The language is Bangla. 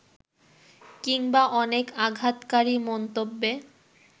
কিংবা অনেক আঘাতকারী মন্তব্যে